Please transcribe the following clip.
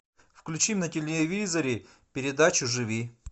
включи на телевизоре передачу живи